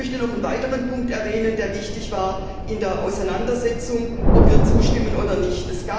Ich möchte noch einen weiteren Punkt erwähnen, der wichtig war bei der Auseinandersetzung, ob wir zustimmen oder nicht.